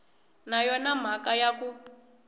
na yona mhaka ya ku